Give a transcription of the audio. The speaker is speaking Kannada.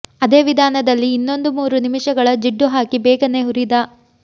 ಅದೇ ವಿಧಾನದಲ್ಲಿ ಇನ್ನೊಂದು ಮೂರು ನಿಮಿಷಗಳ ಜಿಡ್ಡು ಹಾಕಿ ಬೇಗನೆ ಹುರಿದ